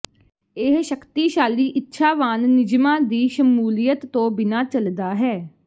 ਇਹ ਸ਼ਕਤੀਸ਼ਾਲੀ ਇੱਛਾਵਾਨ ਨਿਯਮਾਂ ਦੀ ਸ਼ਮੂਲੀਅਤ ਤੋਂ ਬਿਨਾਂ ਚੱਲਦਾ ਹੈ